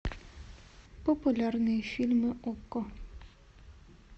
популярные фильмы окко